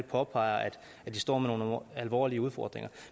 påpeger at de står med nogle alvorlige udfordringer